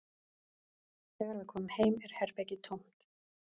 Þegar við komum heim er herbergið tómt